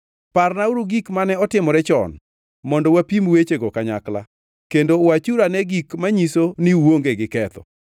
Parnauru gik mane otimore chon, mondo wapim wechego kanyakla; kendo wachuru ane gik manyiso ni uonge gi ketho.